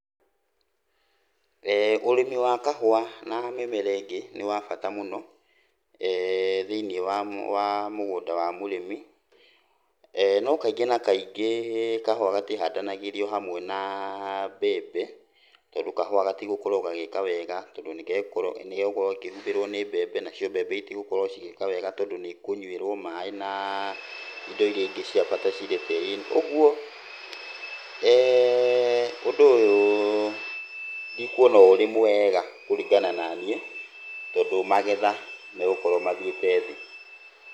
Ũrĩmi wa kahũa na mĩmera ĩngĩ nĩ wa bata mũno thĩiniĩ wa, wa mũgũnda wa mũrĩmi, no kaingĩ na kaingĩ kahũa gatihandanagĩrio hamwe na mbembe tondũ kahũa gatigũkorwo gagĩka wega tondũ nĩgegũko, nĩgegũkorwo gakĩhumbĩrwo nĩ mbembe, nacio mbembe itigũkorwo cigĩka wega tondũ nĩikũnyuĩrwo maaĩ na indo iria ingĩ cia bata ciri tĩri-inĩ. Ũguo ũndũ ũyũ ndikuona ũrĩ mwega kũringana naniĩ tondũ magetha megũkorwo mathiĩte thĩ.